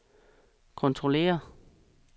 kontrollere